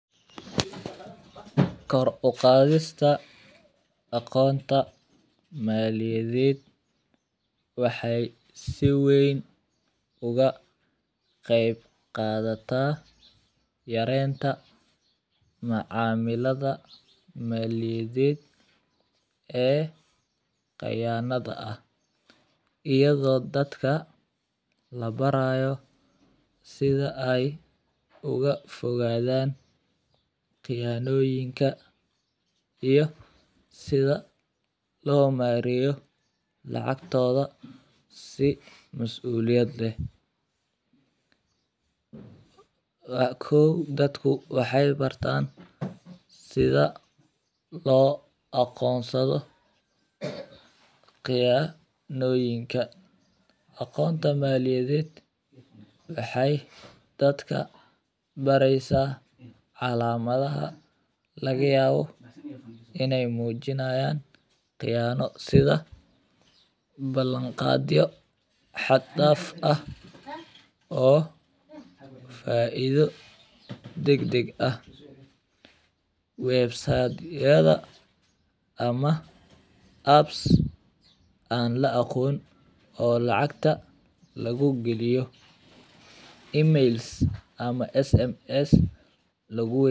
Karu uqaadista Akoonta Maaliyadeed waxay si wayn uga qeyb qaadata yareenta macaamilada, maaliyadeed ee qayaanada ah. Iyo doo dadka la barayo sida ay uga fogaa daan qiyaanooyinka iyo sida loo maarayo lacagtooda si mas'uuliyad leh. Waa kow dad ku waxay bartaan sida loo aqoonsado qiyaanooyinka. Akoonta Maaliyadeed waxay dadka baraysaa calaamadaha laga yaabo inay muujinayaan qiyaano sida: balanqaadyo, xataaf ah oo faaido degdeg ah, websayd yada ama apps aan la aqoon oo lacagta lagu geliyo, emails ama sms lagu weydiiyo